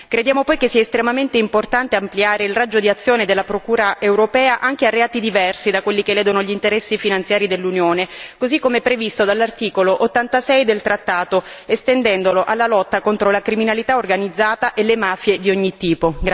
Crediamo poi che sia estremamente importante ampliare il raggio d'azione della Procura europea anche a reati diversi da quelli che ledono gli interessi finanziari dell'Unione, così come previsto dall'articolo 86 del trattato, estendendolo alla lotta contro la criminalità organizzata e le mafie di ogni tipo.